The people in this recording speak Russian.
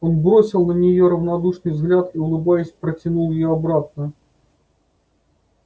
он бросил на нее равнодушный взгляд и улыбаясь протянул её обратно